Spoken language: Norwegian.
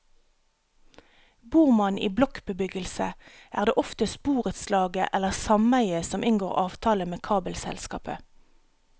Bor man i blokkbebyggelse, er det oftest borettslaget eller sameiet som inngår avtale med kabelselskapet.